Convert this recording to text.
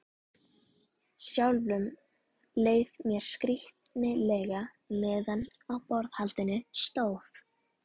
Sjálfum leið mér skrýtilega meðan á borðhaldinu stóð.